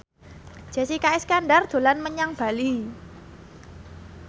Jessica Iskandar dolan menyang Bali